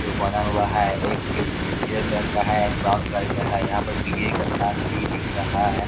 जो बना हुआ है एक उजर कलर का है एक ब्राउन कलर का है यहाँ पर बिजली का तार भी दिख रहा है।